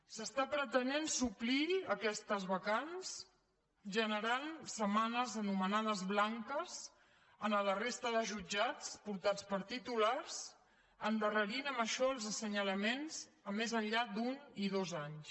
s’està pretenent suplir aquestes vacants generant setmanes anomenades blanques a la resta de jutjats portats per titulars i s’endarrereix amb això els assenyalaments més enllà d’un i dos anys